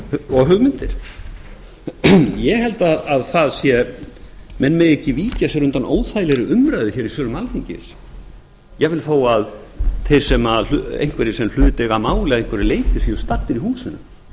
og hugmyndir ég held að menn megi ekki víkja sér undan óþægilegri umræðu í sölum alþingis jafnvel þó að einhverjir sem hlut eiga að máli að einhverju leyti séu staddir í húsinu